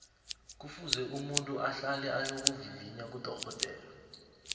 ngufuze umuntu ahlale ayokuvivinya kudorhodere